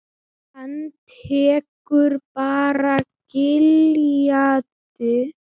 Hann tekur bara gildi?